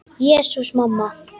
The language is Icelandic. Jesús, mamma.